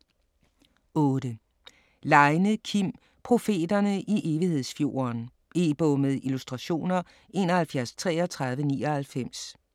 8. Leine, Kim: Profeterne i Evighedsfjorden E-bog med illustrationer 713399